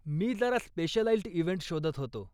मी जरा specialised event शोधत होतो.